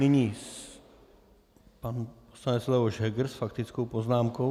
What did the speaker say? Nyní pan poslanec Leoš Heger s faktickou poznámkou.